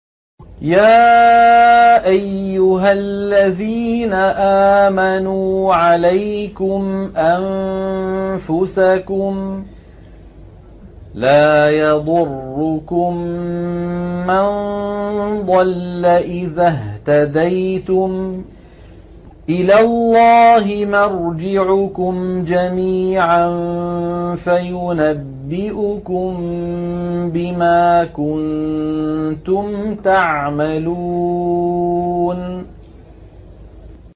يَا أَيُّهَا الَّذِينَ آمَنُوا عَلَيْكُمْ أَنفُسَكُمْ ۖ لَا يَضُرُّكُم مَّن ضَلَّ إِذَا اهْتَدَيْتُمْ ۚ إِلَى اللَّهِ مَرْجِعُكُمْ جَمِيعًا فَيُنَبِّئُكُم بِمَا كُنتُمْ تَعْمَلُونَ